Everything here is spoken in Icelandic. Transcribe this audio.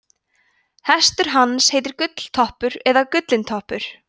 hestur hans heitir gulltoppur eða gullintoppur